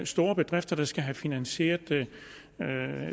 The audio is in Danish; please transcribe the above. store bedrifter der skal have finansieret